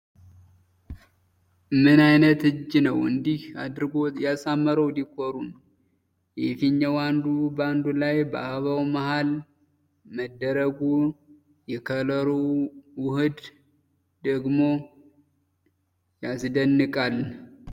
ምን አይነት እጅ ነው እንደዚህ አድርጎ ያሳመረው ዲኮሩን ፤ የፊኛው አንዱ በአንዱ ላይ በአበባው መሐል መደረጉ የከለሩ ውህድ ደግሞ ያስደንቃል።